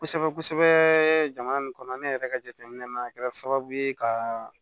Kosɛbɛ kosɛbɛ jamana nin kɔnɔ ne yɛrɛ ka jateminɛ na kɛra sababu ye ka